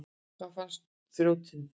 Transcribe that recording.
Hvar fannstu þrjótinn?